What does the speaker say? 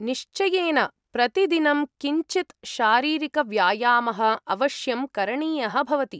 निश्चयेन, प्रतिदिनं किञ्चित् शारीरिकव्यायामः अवश्यं करणीयः भवति।